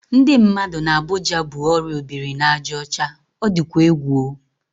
Ndị mmadụ n'Abuja bu orịa obiri-na-aja ocha. O dịkwa egwu o!